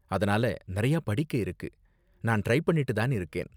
அதனால நிறையா படிக்க இருக்கு, நான் ட்ரை பண்ணிட்டு தான் இருக்கேன்.